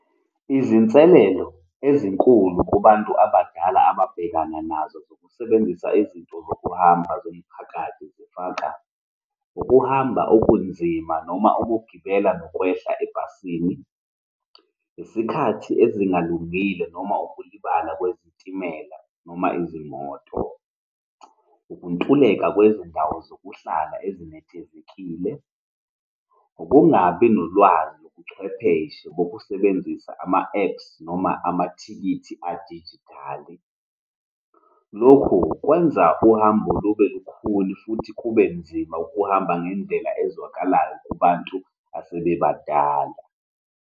Izinselelo ezinkulu kubantu abadala ababhekana nazo zokusebenzisa izinto zokuhamba zomphakathi zifaka, ukuhamba okunzima noma ukugibela nokwehla ebhasini, isikhathi ezingalungile noma ukulibala kwezitimela noma izimoto, ukuntuleka kwezindawo zokuhlala ezinethezekile, ukungabi nolwazi lobuchwepheshe bokusebenzisa ama-apps noma amathikithi adijithali. Lokhu kwenza uhambo lube lukhuni futhi kube nzima ukuhamba ngendlela ezwakalayo kubantu asebebadala.